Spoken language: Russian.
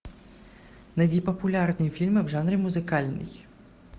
найди популярные фильмы в жанре музыкальный